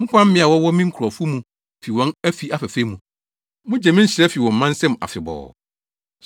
Mopam mmea a wɔwɔ me nkurɔfo mu fi wɔn afi afɛɛfɛ mu. Mugye me nhyira fi wɔn mma nsam afebɔɔ.